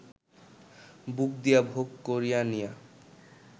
বুক দিয়া ভোগ করিয়া নিয়া